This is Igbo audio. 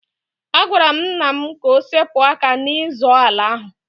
Agwara m nna m ka o sepụ aka n'ịzọ ala ahụ.